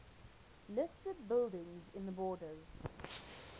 listed buildings in the borders